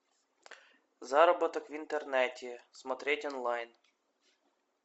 заработок в интернете смотреть онлайн